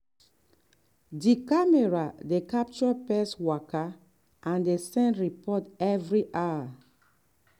di camera dey capture pest waka and dey send report every hour.